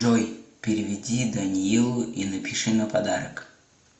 джой переведи даниилу и напиши на подарок